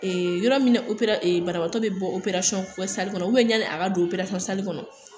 Ee yɔrɔ min na opera ee banabagatɔ be bɔ opererasɔnkɛ sali kɔnɔ ubiyɛn ɲani a ka don perasɔnkɛ sali kɔnɔ